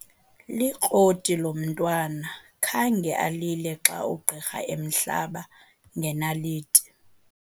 Likroti lo mntwana khange alile xa ugqirha emhlaba ngenaliti.